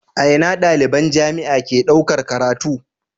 A Ina daliban jamia ke ɗaukar karatu